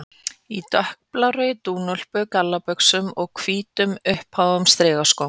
Í dökkblárri dúnúlpu, gallabuxum og hvítum, uppháum strigaskóm.